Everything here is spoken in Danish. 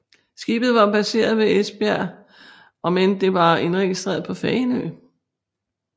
Skibet var baseret ved Esbjerg om end det var indregistreret på Fanø